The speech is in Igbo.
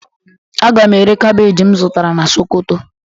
A ga m ere kabeeji m zụtara na sokoto